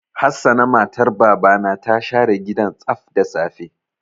Hassana matar Baba na ta share gidan tsaf da safe.